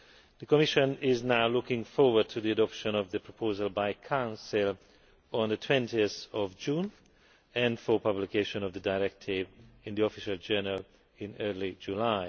The Commission is now looking forward to the adoption of the proposal by Council on 20 June and to publication of the directive in the Official Journal in early July.